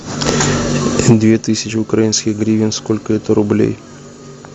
две тысячи украинских гривен сколько это рублей